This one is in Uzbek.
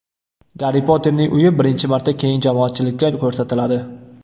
Garri Potterning uyi birinchi marta keng jamoatchilikka ko‘rsatiladi.